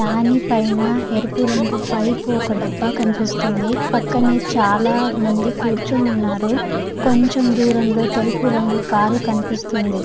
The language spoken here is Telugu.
దాని పైన ఎరుపు రంగు పైపు ఒక డబ్బా కనిపిస్తుంది. పక్కనే చాల మంది కురుచొని వున్నారు కొంచెం దూరం లో తెల్లుపు రంగు కార్ కనిపిస్తుంది.